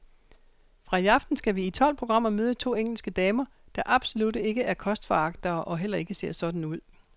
Fra i aften skal vi i tolv programmer møde to engelske damer, der absolut ikke er kostforagtere og heller ikke ser sådan ud.